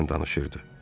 Güclə danışırdı.